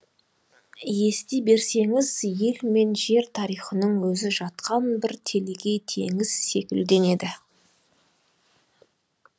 ести берсеңіз ел мен жер тарихының өзі жатқан бір телегей теңіз секілденеді